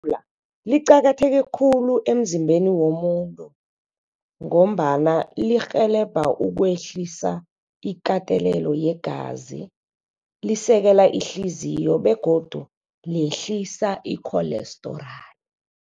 liqakatheke khulu emzimbeni womuntu ngombana lirhelebha ukwehlisa ikatelelo yegazi. Lisekela ihliziyo begodu lehlisa i-cholesterol.